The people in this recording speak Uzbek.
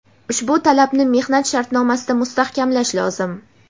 Ushbu talabni mehnat shartnomasida mustahkamlash lozim.